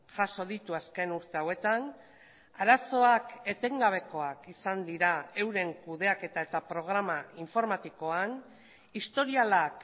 jaso ditu azken urte hauetan arazoak etengabekoak izan dira euren kudeaketa eta programa informatikoan historialak